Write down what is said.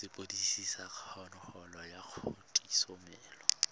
sepodisi sa kgololo ya kgatisomenwa